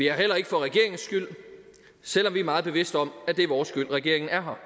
her heller ikke for regeringens skyld selv om vi er meget bevidste om at det er vores skyld at regeringen er her